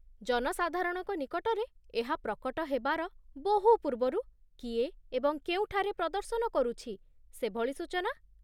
ଜନସାଧାରଣଙ୍କ ନିକଟରେ ଏହା ପ୍ରକଟ ହେବାର ବହୁ ପୂର୍ବରୁ କିଏ ଏବଂ କେଉଁଠାରେ ପ୍ରଦର୍ଶନ କରୁଛି, ସେଭଳି ସୂଚନା?